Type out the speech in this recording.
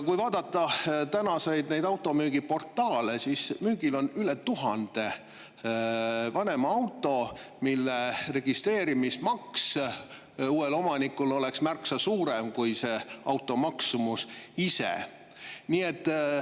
Kui vaadata täna automüügiportaale, siis müügil on üle tuhande vanema auto, mille registreerimismaks oleks uuele omanikule märksa suurem kui auto maksumus ise.